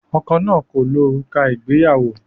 Ọkọ náà kò lo òrùka ìgbéyàwó.